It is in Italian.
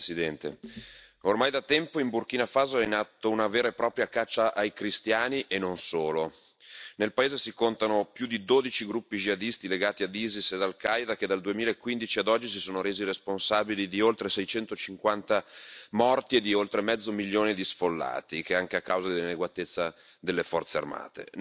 Signor Presidente, onorevoli colleghi, ormai da tempo in Burkina Faso è in atto una vera e propria caccia ai cristiani e non solo. Nel paese si contano più di 12 gruppi jihadisti legati all'Isis ed Al Qaeda, che dal 2015 ad oggi si sono resi responsabili di oltre 650 morti e di oltre mezzo milione di sfollati, anche a causa dell'inadeguatezza delle Forze armate.